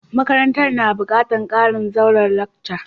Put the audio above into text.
Makarantan na bukatan karin zauren lacca.